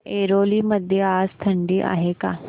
ऐरोली मध्ये आज थंडी आहे का